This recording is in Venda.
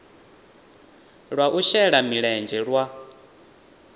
lwa u shela mulenzhe lwa